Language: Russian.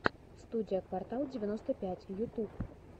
студия квартал девяносто пять ютуб